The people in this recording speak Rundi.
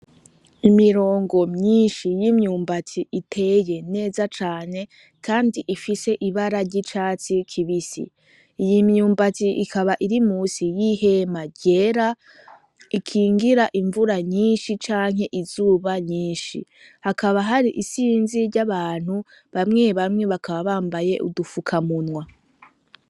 Imirongo myinshi y'imyumbatsi iteye neza cane, kandi ifise ibara ry'icatsi kibisi ,iy'imyumbati ikaba iri musi y'ihema ryera ikingira imvura nyinshi, canke izuba nyinshi hakaba hari isinzi ry'abantu bamwebamwe bakaba bambaye udufukamunwa.